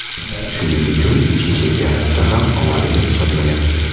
Shuning uchun ichki chempionatda ham omadimiz chopmayapti.